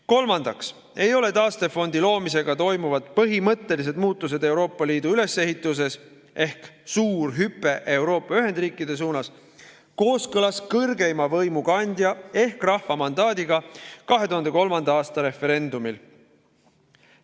Kolmandaks ei ole taastefondi loomisega toimuvad põhimõttelised muutused Euroopa Liidu ülesehituses ehk suur hüpe Euroopa ühendriikide suunas kooskõlas kõrgeima võimu kandja ehk rahva mandaadiga 2003. aasta referendumil.